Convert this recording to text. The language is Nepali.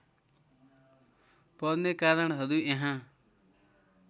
पर्ने कारणहरू यहाँ